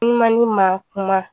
Numan ni ma kuma